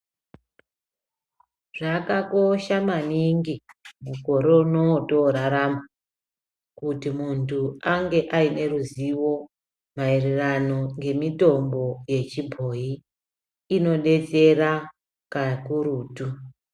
Zvakakosha maningi mukore unowu watorarama, kuti muntu ange ayine ruzivo mayererano ngemitombo yechibhoyi, inodetsera kakurutu.